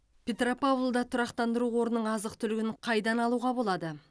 петропавлда тұрақтандыру қорының азық түлігін қайдан алуға болады